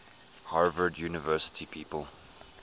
harvard university people